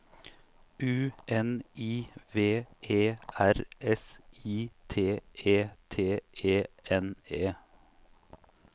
U N I V E R S I T E T E N E